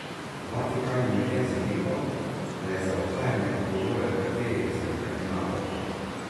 Vatikan je medtem zanikal, da je za uhajanje odgovoren kateri izmed kardinalov.